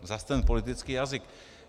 Zas ten politický jazyk.